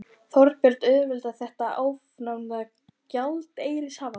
Þorbjörn: Auðveldar þetta afnám gjaldeyrishafta?